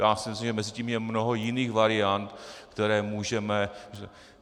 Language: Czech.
Já si myslím, že mezi tím je mnoho jiných variant, které můžeme.